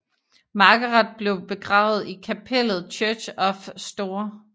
Margaret blev begravet i kapellet Church of St